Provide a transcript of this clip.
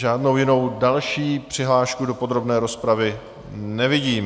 Žádnou jinou další přihlášku do podrobné rozpravy nevidím.